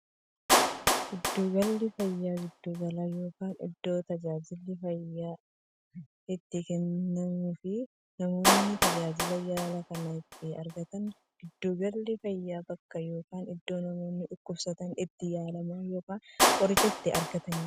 Giddu galli fayyaa giddu gala yookiin iddoo taajilli yaala fayyaa itti kennamuufi namoonni tajaajila yaalaa kana itti argataniidha. Giddu galli fayyaa bakka yookiin iddoo namoonni dhukkubsatan itti yaalaman yookiin qoricha itti argataniidha.